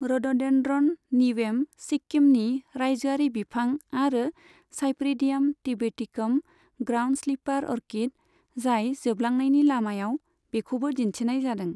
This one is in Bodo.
रड'डेन्ड्र'न निवेम, सिक्किमनि राज्योआरि बिफां आरो cypripedium tibeticum, ground slipper orchid, जाय जोबलांनायनि लामायाव, बेखौबो दिन्थिनाय जादों।